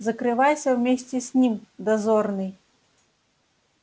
закрывайся вместе с ним дозорный